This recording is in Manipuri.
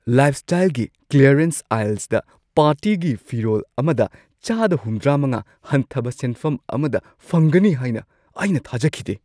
ꯂꯥꯏꯐꯁ꯭ꯇꯥꯏꯜꯒꯤ ꯀ꯭ꯂꯤꯌꯔꯦꯟꯁ ꯑꯥꯏꯜꯖꯗ ꯄꯥꯔꯇꯤꯒꯤ ꯐꯤꯔꯣꯜ ꯑꯃꯗ ꯆꯥꯗ ꯷꯵ ꯍꯟꯊꯕ ꯁꯦꯟꯐꯝ ꯑꯃꯗ ꯐꯪꯒꯅꯤ ꯍꯥꯏꯅ ꯑꯩꯅ ꯊꯥꯖꯈꯤꯗꯦ ꯫